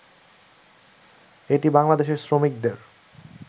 এটি বাংলাদেশের শ্রমিকদের